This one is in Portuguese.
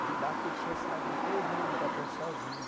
Fui lá, fechei a cidade inteirinha de Ibaté sozinho.